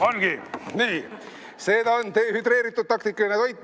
Ongi, see ta on, dehüdreeritud taktikaline toit.